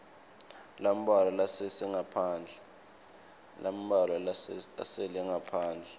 lambalwa lasele ngaphandle